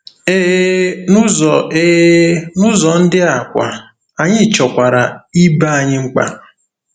Ee, n'ụzọ Ee, n'ụzọ ndị a kwa, anyị chọkwara ibe anyị mkpa.